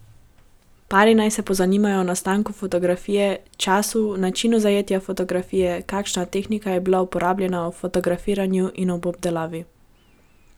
Pari naj se pozanimajo o nastanku fotografije, času, načinu zajetja fotografije, kakšna tehnika je bila uporabljena ob fotografiranju in ob obdelavi.